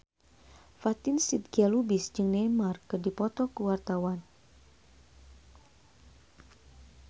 Fatin Shidqia Lubis jeung Neymar keur dipoto ku wartawan